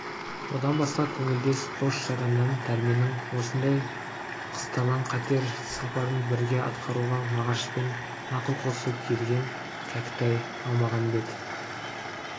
одан басқа көңілдес дос-жараннан дәрменнің осындай қысталаң қатер сапарын бірге атқаруға мағашпен ақыл қосып ерген кәкітай әлмағамбет